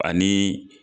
Ani